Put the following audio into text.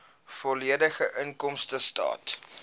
volledige inkomstestaat